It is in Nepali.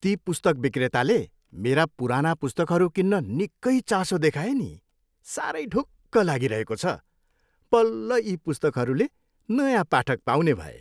ती पुस्तक विक्रेताले मेरा पुराना पुस्तकहरू किन्न निक्कै चासो दिखाए नि। साह्रै ढुक्क लागिरहेको छ। बल्ल यी पुस्तकरूले नयाँ पाठक पाउने भए!